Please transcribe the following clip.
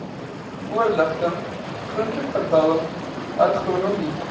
voorligting groenteverbouing agronomie